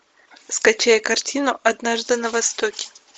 скачай картину однажды на востоке